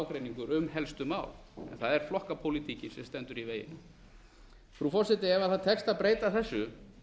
ágreiningur um helstu mál en það er flokkapólitíkin sem stendur í veginum frú forseti ef tekst að breyta þessu